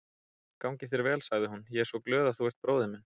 Gangi þér vel, sagði hún, ég er svo glöð að þú ert bróðir minn.